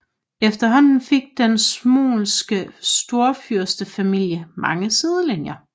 Efterhånden fik den smolenske storfyrstefamilie mange sidelinjer